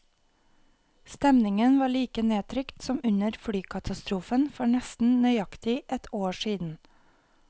Stemningen var like nedtrykt som under flykatastrofen for nesten nøyaktig ett år siden.